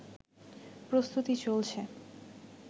প্রস্তুতি চলছে